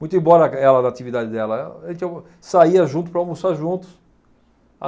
Muito embora ela, da atividade dela, a gente ia saía junto para almoçar junto.